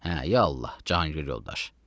Hə, ya Allah, Cahangir yoldaş.